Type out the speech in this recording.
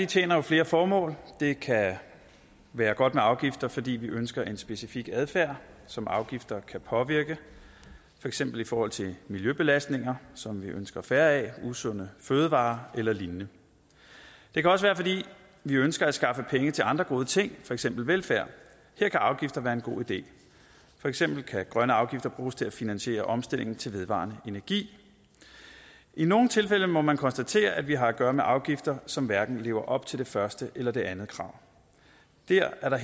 tjener jo flere formål det kan være godt med afgifter fordi vi ønsker en specifik adfærd som afgifter kan påvirke for eksempel i forhold til miljøbelastninger som vi ønsker færre af usunde fødevarer eller lignende det kan også være fordi vi ønsker at skaffe penge til andre gode ting for eksempel velfærd her kan afgifter være en god idé for eksempel kan grønne afgifter bruges til at finansiere omstilling til vedvarende energi i nogle tilfælde må man konstatere at vi har at gøre med afgifter som hverken lever op til det første eller det andet krav det er der